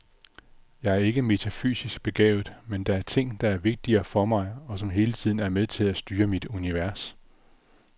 Jeg er ikke metafysisk begavet, men der er ting, der er vigtige for mig, og som hele tiden er med til at styre mit univers.